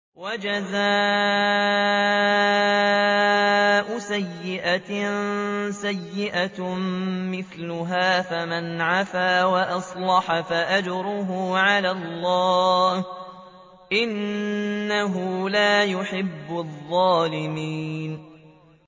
وَجَزَاءُ سَيِّئَةٍ سَيِّئَةٌ مِّثْلُهَا ۖ فَمَنْ عَفَا وَأَصْلَحَ فَأَجْرُهُ عَلَى اللَّهِ ۚ إِنَّهُ لَا يُحِبُّ الظَّالِمِينَ